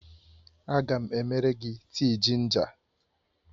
Aga m emere gị tii jinja